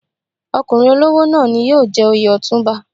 Ọkùnrin olówó náà ni yóò jẹ oyè Ọ̀túnba.